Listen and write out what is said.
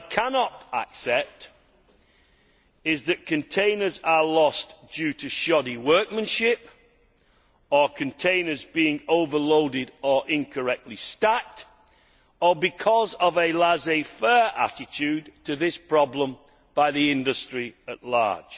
What I cannot accept is that containers are lost due to shoddy workmanship, or to containers being overloaded or incorrectly stacked, or because of a laissez faire attitude to this problem by the industry at large.